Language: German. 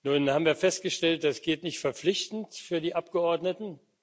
Nun haben wir festgestellt, das geht nicht verpflichtend für die Abgeordneten.